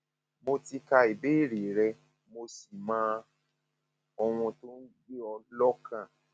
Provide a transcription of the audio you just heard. mo ti ka ìbéèrè rẹ mo sì mọ ohun tó ń gbé ọ lọkàn